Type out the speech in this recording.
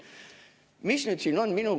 Mis nüüd siin on?